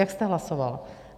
Jak jste hlasoval?